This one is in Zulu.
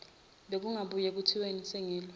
bekungabuye kuthiweni sengilwa